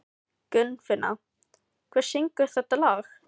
Gunnfinna, hver syngur þetta lag?